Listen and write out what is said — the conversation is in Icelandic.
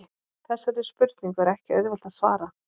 Þessari spurningu er ekki auðvelt að svara.